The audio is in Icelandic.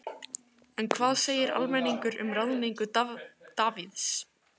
En hvað segir almenningur um ráðningu Davíðs?